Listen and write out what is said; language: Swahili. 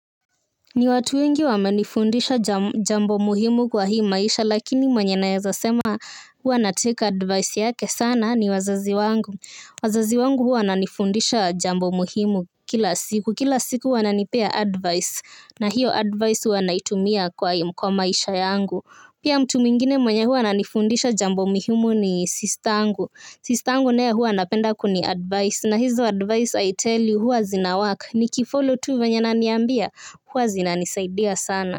Ni watu wengi wamenifundisha jambo muhimu kwa hii maisha lakini mwenye naeza sema huwa na take advice yake sana ni wazazi wangu wazazi wangu huwa wananifundisha jambo muhimu kila siku kila siku wananipea advice na hiyo advice huwa naitumia kwa maisha yangu. Pia mtu mwingine mwenye huwa ananifundisha jambo muhimu ni sista yangu. Sista yangu naye huwa anapenda kuni advice na hizo advice I tell you huwa zina work. Ni kifollow tu venye ananiambia huwa zina nisaidia sana.